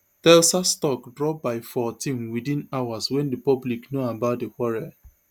telsa stock drop by fourteen within hours wen di public know about di quarrel